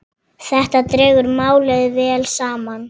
Þetta dregur málið vel saman.